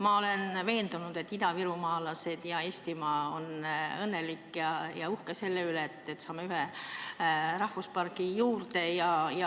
Ma olen veendunud, et idavirumaalased ja kogu Eestimaa on õnnelikud ja uhked selle üle, et me saame ühe rahvuspargi juurde.